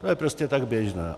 To je prostě tak běžné.